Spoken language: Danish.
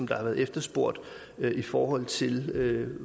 der har været efterspurgt i forhold til